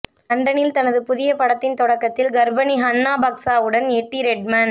லண்டனில் தனது புதிய படத்தின் தொடக்கத்தில் கர்ப்பிணி ஹன்னா பாக்சாவுடன் எட்டி ரெட்மென்